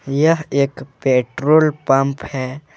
यह एक petrol pump है।